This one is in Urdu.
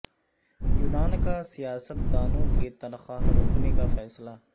یونان کا سیاست دانوں کی تنخواہ روکنے کا فیصلہ